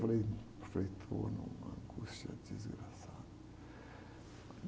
Falei, frei, estou numa angústia desgraçada.